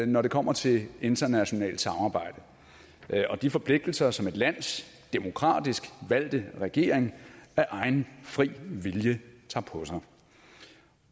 når det kommer til internationalt samarbejde og de forpligtelser som et lands demokratisk valgte regering af egen fri vilje tager på sig